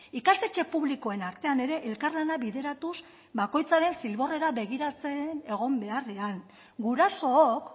ikastetxe publikoen artean ere elkarlana bideratuz bakoitzaren zilborrera begiratzen egon beharrean gurasook